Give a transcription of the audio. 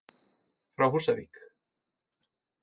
Frá Húsavík.